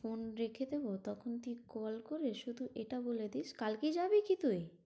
Phone রেখে দেব তখন তুই call করে শুধু এটা বলে দিস, কালকেই যাবি কি তুই?